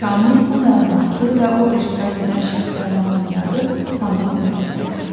Kamil bu məlumatı və orda iştirak edən şəxslərin adını yazıb sandığında gizlətdi.